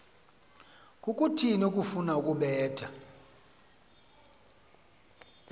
kukuthini ukufuna ukubetha